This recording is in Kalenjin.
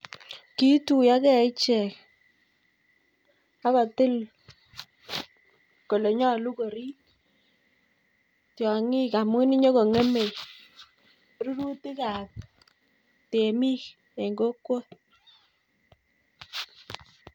Kituiyo gei ichek, akotil Kole nyolu koribtiangik amun nyonekingemei rururtik abtemik en kokwet